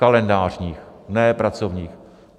Kalendářních, ne pracovních.